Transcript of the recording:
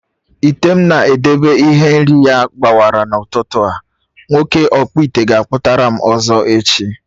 Ite m na-edebe ihe nri na ya gbawara n'ụtụtụ a, nwoke ọkpụite ga akputaram ọzọ echi